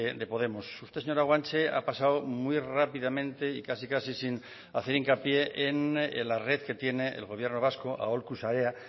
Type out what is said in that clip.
de podemos usted señora guanche ha pasado muy rápidamente y casi casi sin hacer hincapié en la red que tiene el gobierno vasco aholku sarea